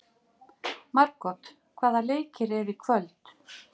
Margot, hvaða leikir eru í kvöld?